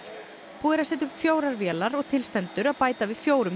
búið er að setja upp fjórar vélar og til stendur að bæta við fjórum